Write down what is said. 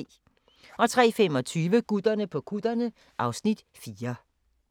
03:25: Gutterne på kutterne (Afs. 4)